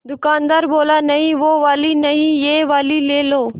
दुकानदार बोला नहीं वो वाली नहीं ये वाली ले लो